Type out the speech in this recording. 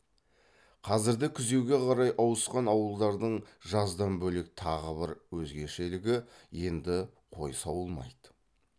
қазірді күзеуге қарай ауысқан ауылдардың жаздан бөлек тағы бір өзгешелігі енді қой сауылмайды